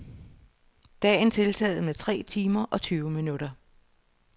Dagen tiltaget med tre timer og tyve minutter.